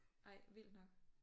Ej vildt nok